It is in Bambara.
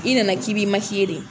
I nana k'i b'i de.